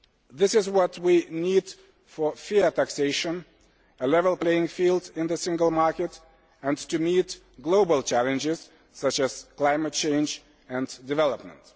This is what we need for fair taxation, a level playing field in the Single Market and to meet global challenges such as climate change and development.